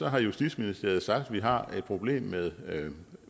har justitsministeriet sagt at vi har et problem med